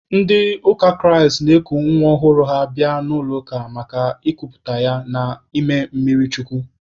Ndị ụka Kraịst na-eku nwa ọhụrụ ha bịa n'ụlọ ụka maka ịkuputa ya na ime mmiri chukwu.